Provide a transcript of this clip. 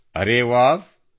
ಅರೆ ವ್ಹಾವ್